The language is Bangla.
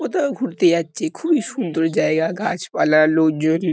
কোথাও ঘুরতে যাচ্ছে। খুবই সুন্দর জায়গা। গাছপালা লোকজন জু --